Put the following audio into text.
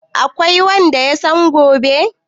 Akwai wanda yasan gobe?